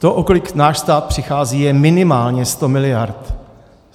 To, o kolik náš stát přichází, je minimálně 100 miliard.